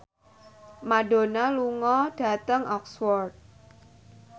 Madonna lunga dhateng Oxford